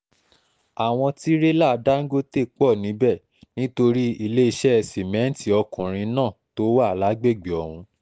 àwọn tirẹ́là dángọ́tẹ́ pọ̀ níbẹ̀ nítorí iléeṣẹ́ sìmẹ́ǹtì ọkùnrin náà tó wà lágbègbè ọ̀hún